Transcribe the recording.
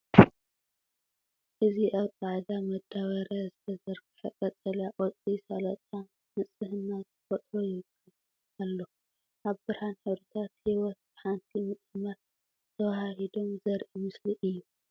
እዚ ኣብ ጻዕዳ መዳበርያ ዝተዘርግሐ ቀጠልያ ቆጽሊ ሰላጣ ንጽህና ተፈጥሮ ይውክል ኣሎ። ኣብ ብርሃን ሕብርታት ህይወት ብሓንቲ ምጥማት ተወሃሂዶም ዘርኢ ምስሊ እዩ።